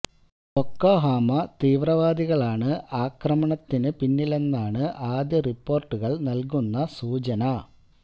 bouquet Haram തീവ്രവാദികളാണ് ആക്രമണത്തിന് പിന്നിലെന്നാണ് ആദ്യ റിപ്പോര്ട്ടുകള് നല്കുന്ന സൂചന